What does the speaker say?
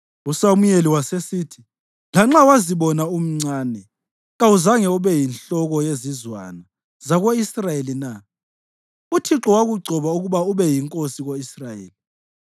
USamuyeli wasesithi, “Lanxa wazibona umncane, kawuzange ube yinhloko yezizwana zako-Israyeli na? Uthixo wakugcoba ukuba ube yinkosi ko-Israyeli.